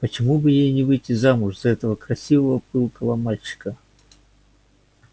почему бы ей не выйти замуж за этого красивого пылкого мальчика